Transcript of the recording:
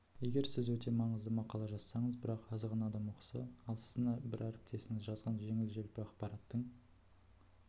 егер сіз өте маңызды мақала жазсаңыз бірақ аз ғана адам оқыса ал сіздің бір әріптесіңіз жазған жеңіл-желпі ақпараттың